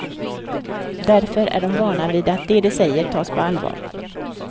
Därför är de vana vid att det de säger tas på allvar.